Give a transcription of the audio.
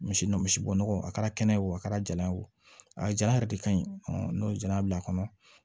Misi misi bo nɔgɔ a kɛra kɛnɛ ye o a kɛra jala ye o a jala yɛrɛ de ka ɲi n'o ye jala bila a kɔnɔ